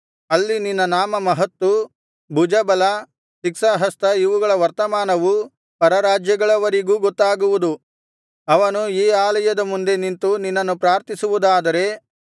ಅಲ್ಲಿ ನಿನ್ನ ನಾಮಮಹತ್ತು ಭುಜಬಲ ಶಿಕ್ಷಾಹಸ್ತ ಇವುಗಳ ವರ್ತಮಾನವು ಪರರಾಜ್ಯಗಳವರಿಗೂ ಗೊತ್ತಾಗುವುದು ಅವನು ಈ ಆಲಯದ ಮುಂದೆ ನಿಂತು ನಿನ್ನನ್ನು ಪ್ರಾರ್ಥಿಸುವುದಾದರೆ